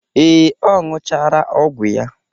Ee, ọ ṅụchara ọgwụ ya.